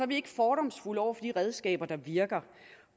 vi ikke fordomsfulde over for de redskaber der virker